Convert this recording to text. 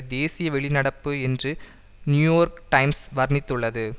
தேசிய வெளிநடப்பு என்று நியூயோர்க் டைம்ஸ் வர்ணித்துள்ளது